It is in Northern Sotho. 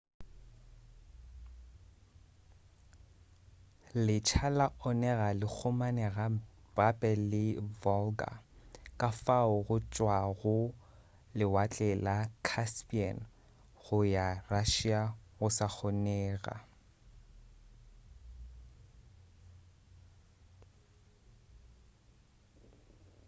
letsha la onega le kgomagane gape le volga ka fao go tšwa lewatle la caspian go ya russia go sa kgonega